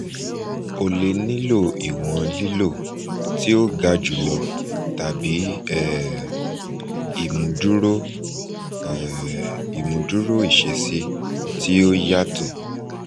o le nilo iwọn lilo ti o ga julọ tabi um imuduro um imuduro iṣesi ti o yatọ